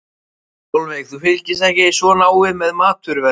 Sólveig: Þú fylgist ekki svo náið með, með matvöruverði?